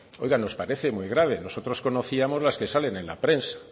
oiga nos parece muy grave nosotros conocíamos las que salen en la prensa